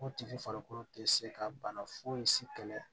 O tigi farikolo tɛ se ka bana foyi si kɛlɛ